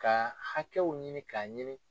Ka hakɛw ɲini k'a ɲini